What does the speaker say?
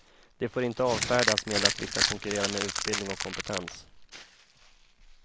De får inte avfärdas med att vi ska konkurrera med utbildning och kompetens.